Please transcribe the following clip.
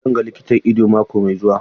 Zan ga likitan ido mako mai zuwa.